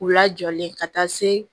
U lajɔlen ka taa se